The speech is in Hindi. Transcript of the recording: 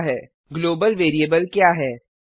ग्लोबल ग्लोबल वेरिएबल क्या है